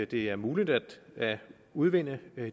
det er muligt at udvinde